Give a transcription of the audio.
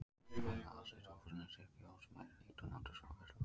Það hefur aðsetur í húsnæði Stykkishólmsbæjar, líkt og Náttúrustofa Vesturlands.